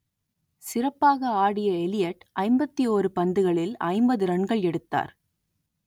சிறப்பாக ஆடிய எல்லியட் ஐம்பத்தி ஓரு பந்துகளில் ஐம்பது ரன்கள் எடுத்தார்